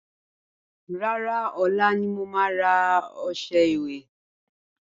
Rárá, ọ̀la ni mo ma rà ọṣẹ ìwẹ̀